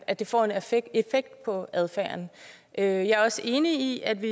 at det får en effekt på adfærden jeg er også enig i at vi